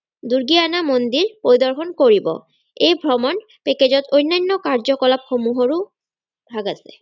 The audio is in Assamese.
দূৰ্গীয়ানা মন্দিৰ পৰিদৰ্শন কৰিব এই ভ্ৰমণ package ত অন্যান্য কাৰ্যকলাপ সমূহৰ ও ভাগ আছে।